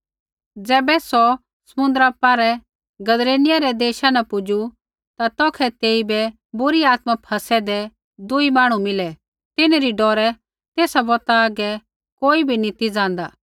ज़ैबै सौ समुन्द्रा पौरै गदरेनियै रै देशा न पुजू ता तौखै तेइबै बुरी आत्मा फसैदै दूई मांहणु मिलै तिन्हरी डौरै तेसा बौतै आगै कोई भी नी ती ज़ान्दा